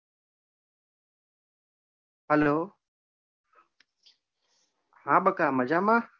Hello હાં બકા મજામાં?